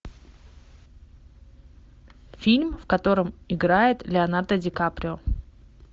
фильм в котором играет леонардо ди каприо